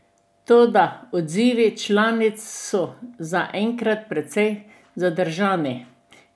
Toda odzivi članic so zaenkrat precej zadržani.